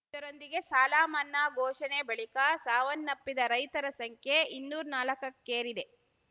ಇದರೊಂದಿಗೆ ಸಾಲ ಮನ್ನಾ ಘೋಷಣೆ ಬಳಿಕ ಸಾವನ್ನಪ್ಪಿದ ರೈತರ ಸಂಖ್ಯೆ ಇನ್ನರ್ ನಾಲಕ್ಕಕ್ಕೇರಿದೆ